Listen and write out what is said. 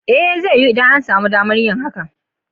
l zai, idan an sami damar yin hakan.